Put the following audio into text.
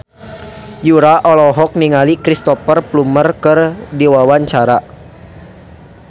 Yura olohok ningali Cristhoper Plumer keur diwawancara